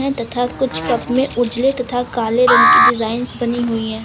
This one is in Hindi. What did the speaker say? तथा कुछ कप में उजले तथा काले रंग की डिजाइंस बनी हुई हैं।